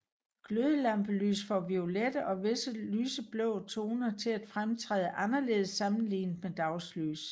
Glødelampelys får violette og visse lyse blå toner til at fremtræde anderledes sammenlignet med dagslys